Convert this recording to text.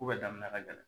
Ko bɛɛ daminɛ ka gɛlɛn